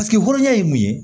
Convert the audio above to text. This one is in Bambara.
hɔrɔnya ye mun ye